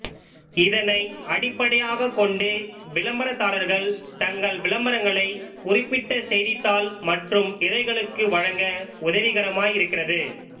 இதனை அடிப்படையாகக் கொண்டு விளம்பரதாரர்கள் தங்கள் விளம்பரங்களை குறிப்பிட்ட செய்தித்தாள் மற்று இதழ்களுக்கு வழங்க உதவிகரமாய் இருக்கிறது